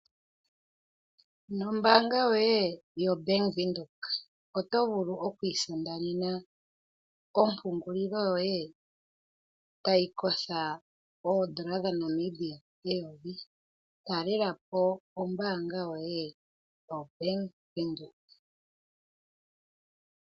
Nombaanga yoye yobank Windhoek oto vulu oku isindanena ompungulilo yoye tayikotha oodola dha Namibia eyovi, talela po ombaanga yoye yobank Windhoek.